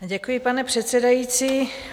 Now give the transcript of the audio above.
Děkuji, pane předsedající.